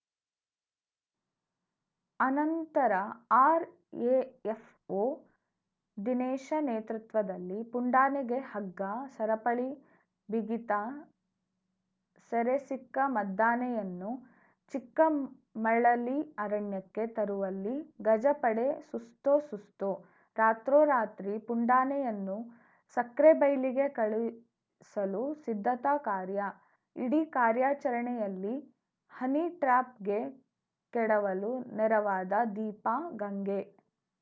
ಅನಂತರ ಆರ್‌ಎಫ್‌ಓ ದಿನೇಶ ನೇತೃತ್ವದಲ್ಲಿ ಪುಂಡಾನೆಗೆ ಹಗ್ಗ ಸರಪಳಿ ಬಿಗಿತ ಸೆರೆ ಸಿಕ್ಕ ಮದ್ದಾನೆಯನ್ನು ಚಿಕ್ಕಮಳಲಿ ಅರಣ್ಯಕ್ಕೆ ತರುವಲ್ಲಿ ಗಜಪಡೆ ಸುಸ್ತೋ ಸುಸ್ತು ರಾತ್ರೋ ರಾತ್ರಿ ಪುಂಡಾನೆಯನ್ನು ಸಕ್ರೆಬೈಲಿಗೆ ಕಳುಹಿಸಲು ಸಿದ್ಧತಾ ಕಾರ್ಯ ಇಡೀ ಕಾರ್ಯಾಚರಣೆಯಲ್ಲಿ ಹನಿಟ್ರ್ಯಾಪ್‌ಗೆ ಕೆಡವಲು ನೆರವಾದ ದೀಪಾ ಗಂಗೆ